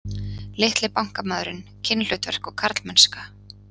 Litli bankamaðurinn, kynhlutverk og karlmennska